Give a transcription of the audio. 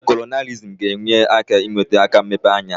Kolonailizm ga-enye aka n'iwe ata mmepe anya.